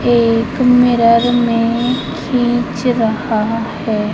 एक मिरर में खींच रहा है।